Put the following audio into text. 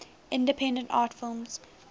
independent art films